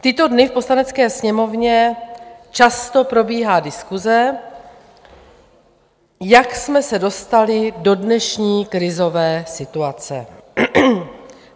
V tyto dny v Poslanecké sněmovně často probíhá diskuse, jak jsme se dostali do dnešní krizové situace.